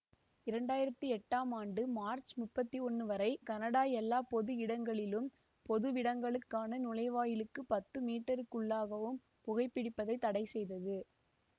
இரண்டு ஆயிரத்தி எட்டாம் ஆண்டு மார்ச் முப்பத்தி ஒன்னு வரை கனடா எல்லா பொது இடங்களிலும் பொதுவிடங்களுக்கான நுழைவாயிலுக்கு பத்து மீட்டர்களுக்குள்ளாகவும் புகைபிடிப்பதை தடைசெய்தது